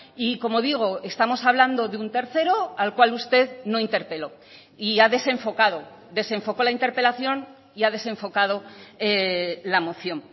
y como digo estamos hablando de un tercero al cual usted no interpeló y ha desenfocado desenfocó la interpelación y ha desenfocado la moción